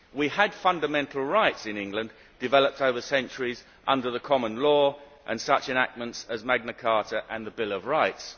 We had fundamental rights in England, developed over centuries under common law and such enactments as Magna Carta and the Bill of Rights.